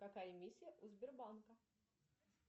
какая миссия у сбербанка